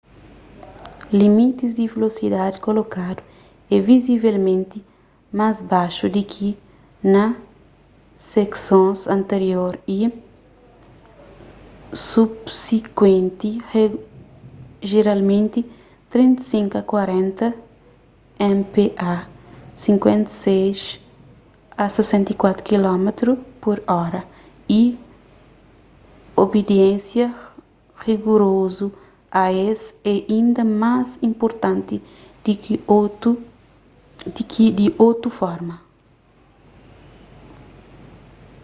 limitis di velosidadi kolokadu é vizivelmenti más baixu di ki na seksons anterior y subsikuenti - jeralmenti 35-40 mph 56-64 km/h - y obidiénsia rigurozu a es é inda más inpurtanti di ki di otu forma